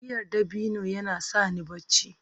giyar dabino yana sa ni barci